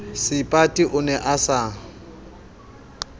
seipati o ne a sa